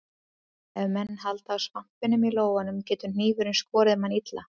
Ef menn halda á svampinum í lófanum getur hnífurinn skorið mann illa.